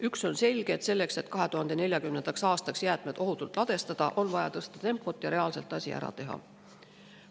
Üks on selge: et 2040. aastaks jäätmed ohutult ladustada, on vaja tempot tõsta ja reaalselt asi ära teha.